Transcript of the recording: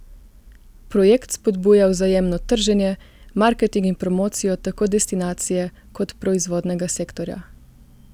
Projekt spodbuja vzajemno trženje, marketing in promocijo tako destinacije kot proizvodnega sektorja.